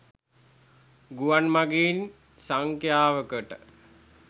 ගුවන් මගීන් සංඛ්‍යාවකට